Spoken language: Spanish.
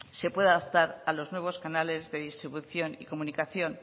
se pueda adaptar a los nuevos canales de distribución y comunicación